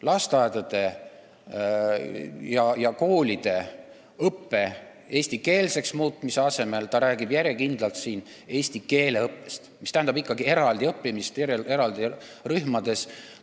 Lasteaedade ja koolide õppe eestikeelseks muutmise asemel räägib ta siin järjekindlalt eesti keele õppest, mis tähendab ikkagi eraldi rühmades õppimist.